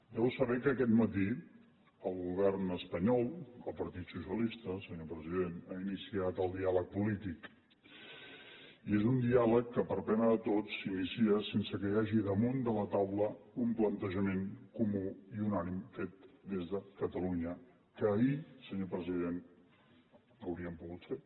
deu saber que aquest matí el govern espanyol el partit socialista senyor president ha iniciat el diàleg polític i és un diàleg que per a pena de tots s’inicia sense que hi hagi damunt de la taula un plantejament comú i un ànim fet des de catalunya que ahir senyor president hauríem pogut fer